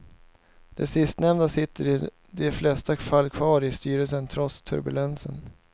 De sistnämnda sitter i de flesta fall kvar i styrelsen, trots turbulensen.